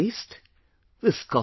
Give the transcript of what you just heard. And it’s taste...